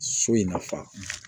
So in nafa